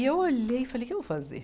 E eu olhei e falei, o que eu vou fazer?